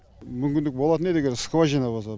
мүмкіндік болатын еді егер скважина болса